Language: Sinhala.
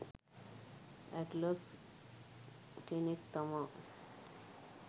ඇට්ලස් කෙනෙක් තමා.